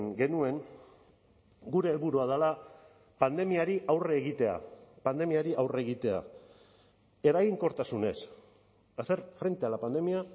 genuen gure helburua dela pandemiari aurre egitea pandemiari aurre egitea eraginkortasunez hacer frente a la pandemia